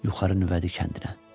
Yuxarı Nüvədi kəndinə.